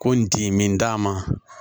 Ko n ti min d'a ma